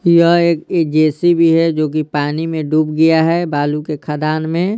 यह एक जेसीबी हैजो कि पानी में डूब गया हैबालू के खादान में--